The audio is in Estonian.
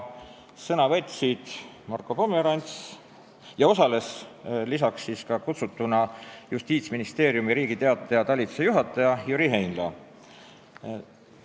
Kutsutuna osales Justiitsministeeriumi Riigi Teataja talituse juhataja Jüri Heinla.